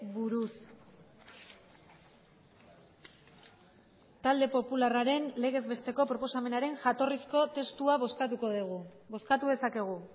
buruz talde popularraren legez besteko proposamenaren jatorrizko testua bozkatuko dugu bozkatu dezakegu